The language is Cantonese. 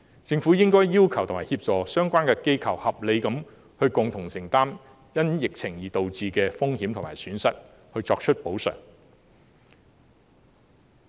政府應該要求及協助相關機構合理地共同承擔因疫情而導致的風險和損失，並作出補償。